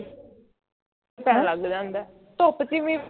ਪਤਾ ਲੱਗ ਜਾਂਦਾ ਹੈ ਧੁੱਪ ਚ ਵੀ